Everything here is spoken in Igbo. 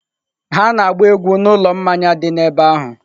Ha na-agba egwu n'ụlọ mmanya dị n'ebe ahụ.